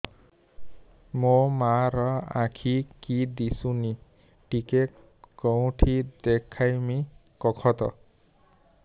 ମୋ ମା ର ଆଖି କି ଦିସୁନି ଟିକେ କେଉଁଠି ଦେଖେଇମି କଖତ